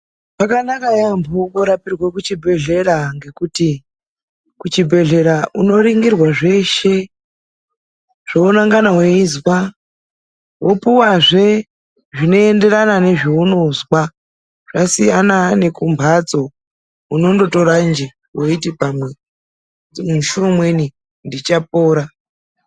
Zvakanaka yaambo kurapirwe kuchibhehlera ngekuti kuchibhedhlera unoringirwe zveshe zvounangana weizwa. Wopuwazve zvinoenderana nezvounozwa. Zvasiyana nekumbatso unondotora nje weiti pamwe musi umweni ndichapora.